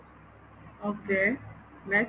okay next